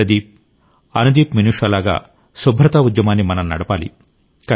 ప్రదీప్ అనుదీప్మినుషా లాగా శుభ్రతా ఉద్యమాన్ని మనం నడపాలి